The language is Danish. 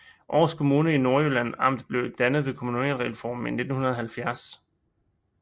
Aars Kommune i Nordjyllands Amt blev dannet ved kommunalreformen i 1970